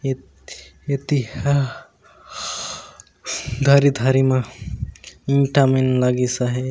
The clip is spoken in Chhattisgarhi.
य एक तीखा धरी धरी माँ इटा मे लगी साहे --